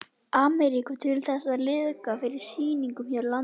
Ameríku til þess að liðka fyrir sýningum hér á landi.